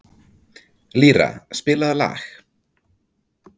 Lýra, spilaðu lag.